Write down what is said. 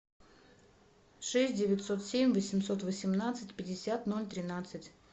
шесть девятьсот семь восемьсот восемнадцать пятьдесят ноль тринадцать